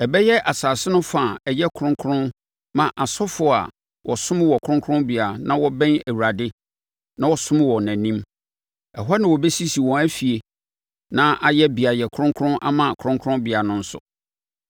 Ɛbɛyɛ asase no fa a ɛyɛ kronkron ma asɔfoɔ a wɔsom wɔ kronkronbea na wɔbɛn Awurade, na wɔsom wɔ nʼanim. Ɛhɔ na wɔbɛsisi wɔn afie na ayɛ beaeɛ kronkron ama kronkronbea no nso.